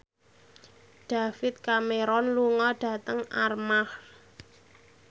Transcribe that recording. David Cameron lunga dhateng Armargh